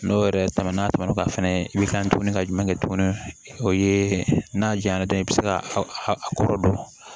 N'o yɛrɛ tɛmɛna n'a tɛmɛn'o kan fɛnɛ i bɛ kan tuguni ka jumɛn kɛ tuguni o ye n'a jaɲa dɔ ye i bɛ se ka a kɔrɔ dɔn